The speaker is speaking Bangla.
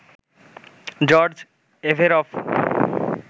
George Averoff,